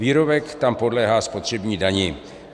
Výrobek tam podléhá spotřební dani.